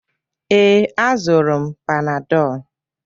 Ee, azụrụ m Panadolụ.